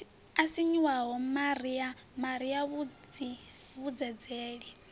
o sinyuwaho maria maria muvhidzeleli